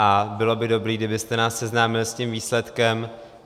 A bylo by dobré, kdybyste nás seznámil s tím výsledkem.